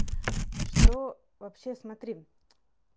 что вообще смотри